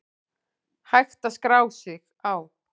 Hægt að skrá sig á